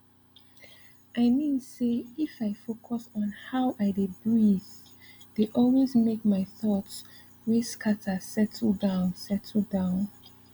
i mean say if i focus on how i dey breathee dey always make my thoughts wey scatter settle down settle down